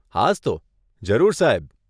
હાસ્તો, જરૂર, સાહેબ.